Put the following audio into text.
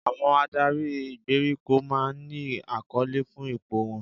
Àwọn adarí ìgbèríko máa ń ní àkọlé fún ipò wọn